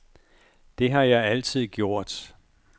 Det har jeg altid gjort.